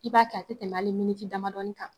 I b'a kɛ a tɛ tɛmɛ hali miniti damadɔ kan